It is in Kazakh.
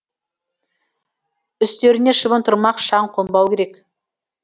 үстеріне шыбын тұрмақ шаң қонбауы керек